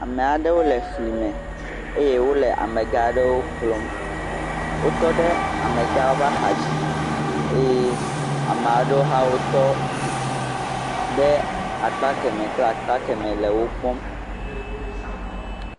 Ame aɖewo le fli me eye wo le amegã aɖewo kplɔ. Wotɔ ɖe amegãwo ƒe axadzi eye ame aɖewo hã wotɔ ɖe akpa kemɛ kple akpa kemɛ le wo kpɔm.